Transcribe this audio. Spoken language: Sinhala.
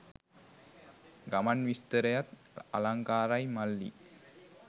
ගමන් විස්තරයත් අලංකාරයි මල්ලි.